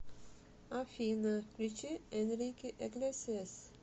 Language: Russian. афина включи энрике иглесиас